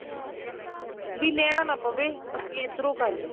ਵੀ ਲੈਣਾ ਨਾ ਪਵੇ ਅਸੀਂ ਇੱਧਰੋ ਕਰਲੋ